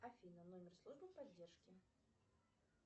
афина номер службы поддержки